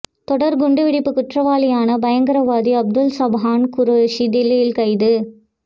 தொடர் குண்டு வெடிப்பு குற்றவாளியான பயங்கரவாதி அப்துல் சப்ஹான் குரோஷி டில்லியில் கைது